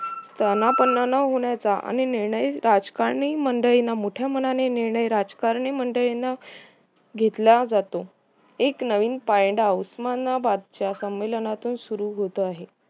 स्थानपण न होण्याचा आणि निर्णयाचा राजकीय मंडळींना मोठया मनानी निर्णय राजकारणीय मंडळींना घेतला जातो एक नवीन पायंडावं मन बादशहा संमेलनातून सुरु होत आहे